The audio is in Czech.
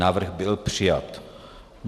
Návrh byl přijat.